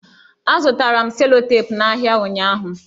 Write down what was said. Azụtara m selotepụ n'ahịa ụnyụahụ.